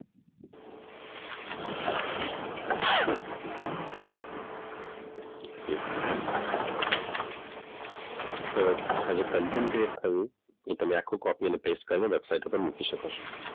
તો આ જે કન્ટેન્ટ ક્રિએટ થયું એને તમે કોપી કરીને પેસ્ટ કરીને વેબસાઈટ ઉપર મૂકી શકો છો.